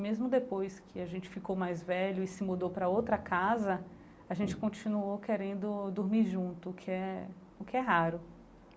Mesmo depois que a gente ficou mais velho e se mudou para outra casa, a gente continuou querendo dormir junto, o que é o que é raro.